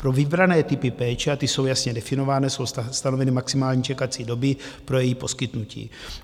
Pro vybrané typy péče, a ty jsou jasně definované, jsou stanoveny maximální čekací doby pro její poskytnutí.